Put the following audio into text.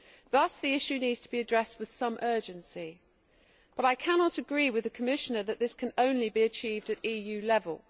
Thus the issue needs to be addressed with some urgency, but I cannot agree with the Commissioner that this can only be achieved at EU level.